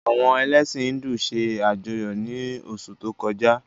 Àwọn elẹ̀sin Híndù se ajọyọ ni osu to koja.